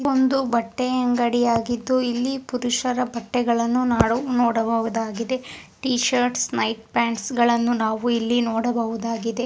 ಇದು ಒಂದು ಬಟ್ಟೆ ಅಂಗಡಿ ಆಗಿತ್ತು ಇಲ್ಲಿ ಪುರುಷರ ಬಟ್ಟೆಗಳನ್ನು ನಾಡು ನೋಡಬಹುದಾಗಿದೆ ಟೀ ಶರ್ಟ್ ನೈಟ್ ಪಾಂಟ್ಸ್ ಗಳನ್ನು ನಾವು ಇಲ್ಲಿ ನೋಡಬಹುದಾಗಿದೆ.